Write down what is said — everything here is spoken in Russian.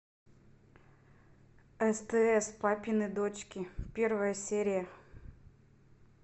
стс папины дочки первая серия